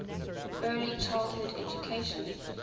early childhood education